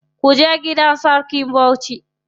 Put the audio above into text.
Kuje gidan sarkin Bauchi.